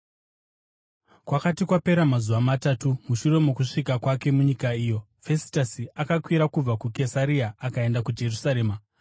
Kwakati kwapera mazuva matatu mushure mokusvika kwake munyika iyo, Fesitasi akakwira kubva kuKesaria akaenda kuJerusarema,